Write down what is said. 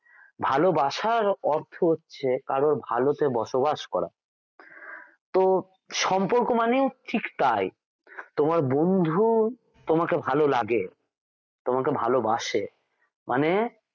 ভালোবাসার অর্থ হচ্ছে কারো ভালোতে বসবাস করা তো সম্পর্ক মানে ঠিক তাই তোমার বন্ধু তোমাকে ভালো লাগে তোমাকে ভালবাসে মানে